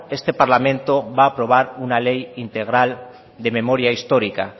este parlamento va a aprobar una ley integral de memoria histórica